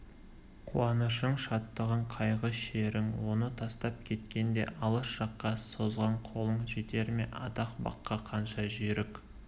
қуанышың шаттығың қайғы-шерің оны тастап кеткенде алыс жаққа созған қолың жетер ме атақ баққа қанша жүйрік